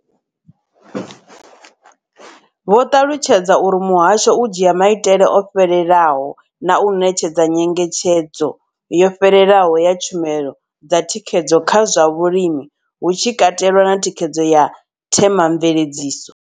Vho ṱalutshedza uri muhasho u dzhia maitele o fhelelaho na u ṋetshedza nyengetshedzo yo fhelelaho ya tshumelo dza thikhedzo kha zwa vhulimi, hu tshi katelwa na thikhedzo ya Thema mveledziso.